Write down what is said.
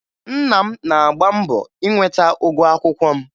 Nna m na-agba mbọ inweta ụgwọ akwụkwọ m